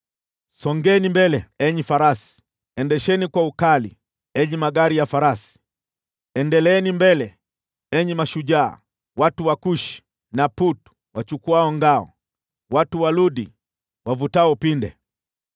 Songeni mbele, enyi farasi! Endesheni kwa ukali, enyi magari ya farasi, Endeleeni mbele, enyi mashujaa: watu wa Kushi na Putu wachukuao ngao, watu wa Ludi wavutao upinde.